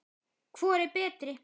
Hvor er betri?